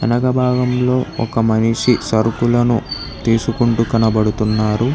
వెనక భాగంలో ఒక మనిషి సరుకులను తీసుకుంటూ కనబడుతున్నారు.